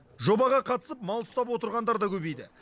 жобаға қатысып мал ұстап отырғандар да көбейді